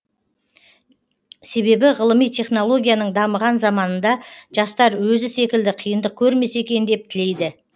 себебі ғылыми технологияның дамыған заманында жастар өзі секілді қиындық көрмесе екен деп тілейді